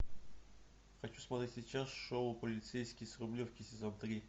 хочу смотреть сейчас шоу полицейский с рублевки сезон три